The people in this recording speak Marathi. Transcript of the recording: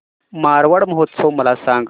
मारवाड महोत्सव मला सांग